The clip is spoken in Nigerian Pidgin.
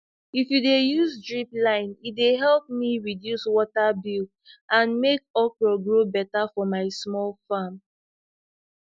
if u de use drip line e de help me reduce water bill and make okra grow better for my small farm